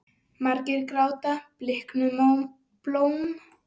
Margir gráta bliknuð blóm.